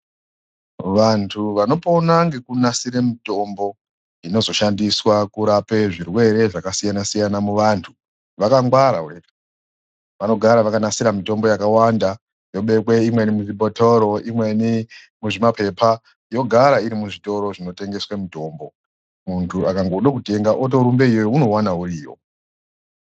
Vantu vanopona ngekunasire mitombo inozoshandiswa kurape zvirwere zvakasiyana siyana muvantu, vakangwara .Vanogara vakanasira mitombo yakawanda ,yobekwe imweni mizvibhotoro, imweni mumapepa .Yotogara iri muzvitoro zvinotengeswe mutombo Muntu akangoda kutenga otorumbe iyoyo ,unouwana uriyo .